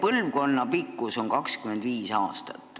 Üks põlvkond kestab 25 aastat.